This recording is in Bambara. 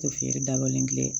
Tɛ feere dabalen